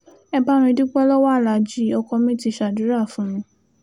ẹ bá mi dúpẹ́ lọ́wọ́ aláàjì ọkọ mi ti ṣàdúrà fún mi